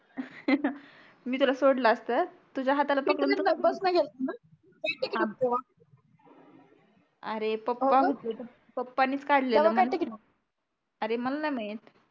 मी तुला सोडलं असत तुझ्या हाताला पकडून अरे पप्पा पप्पाणीच काढलेलं अरे मला नाही माहित